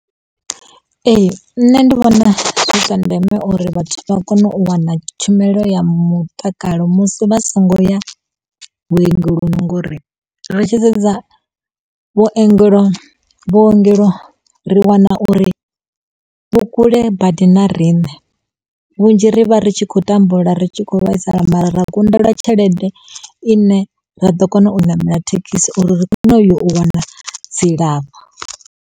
Ee. Nṋe ndi vhona zwi zwa ndeme uri vhathu vha kone u wana tshumelo ya mutakalo musi vha songo ya vhuongeloni ngori ri tshi sedza vhuongelo vhuongelo ri wana uri vhukule badi na riṋe. Vhunzhi ri vha ri tshi kho tambula ri tshi khou vhaisala mara ra kundelwa tshelede i ne ra ḓo kona u ṋamela thekhisi uri ri kone u yo u wana dzilafho.